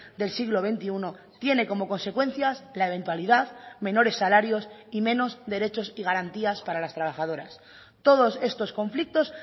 del siglo veintiuno tiene como consecuencias la eventualidad menores salarios y menos derechos y garantías para las trabajadoras todos estos conflictos